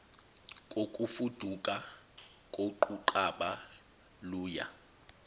kokufuduka koquqaba luya